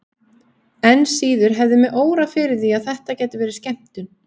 Enn síður hefði mig órað fyrir því að þetta gæti verið skemmtun.